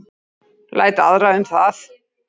Læt aðra um það.